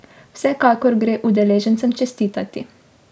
Vsekakor gre udeležencem čestitati.